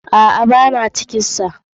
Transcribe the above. Aa, Bana ciki da.